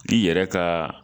I yɛrɛ ka